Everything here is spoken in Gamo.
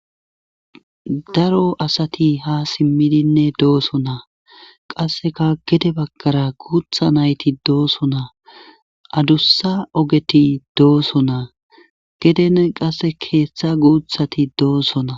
Daro asati ha simmidinne dooso na qasseka gede bagkara guutha nayti dooso naa adussa ogeti dooso naa geden qasse keeththa guuthati doosona